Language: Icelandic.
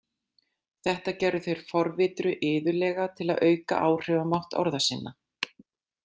Þetta gerðu þeir forvitru iðulega til að auka áhrifamátt orða sinna.